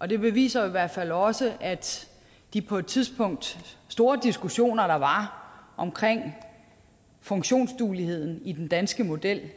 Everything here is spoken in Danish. og det beviser jo i hvert fald også at de på et tidspunkt store diskussioner der var om funktionsdueligheden i den danske model